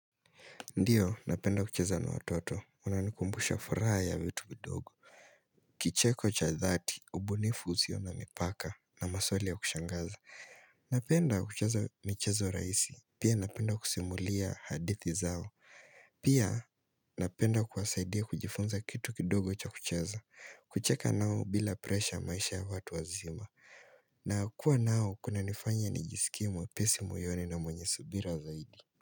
Ndiyo, napenda kucheza na watoto, wananikumbusha furaha ya vitu kidogo. Kicheko cha dhati, ubunifu usio na mipaka na maswali ya kushangaza. Napenda kucheza michezo rahisi, pia napenda kusimulia hadithi zao. Pia napenda kuwasaidia kujifunza kitu kidogo cha kucheza, kucheka nao bila presha ya maisha ya watu wazima. Na kuwa nao, kunanifanya nijisikie mwepesi moyoni na mwenye subira zaidi.